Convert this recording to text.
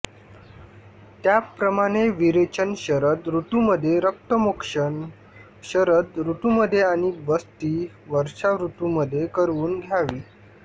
त्याप्रमाणे विरेचन शरद ऋतूमध्ये रक्तमोक्षण शरद ऋतूमध्ये आणि बस्ती वर्षाऋतूमध्ये करवून घ्यावी